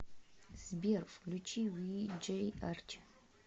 сбер включи виджей арчи